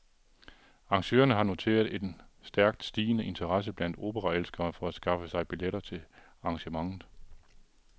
Arrangørerne har noteret en stærkt stigende interesse blandt operaelskere for at skaffe sig billetter til arrangementet.